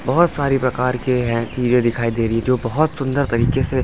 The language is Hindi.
बहुत सारी प्रकार के हैं चीजें दिखाई दे रही है जो बहुत सुंदर तरीके से--